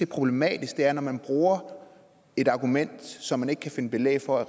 problematisk er at man bruger et argument som man ikke kan finde belæg for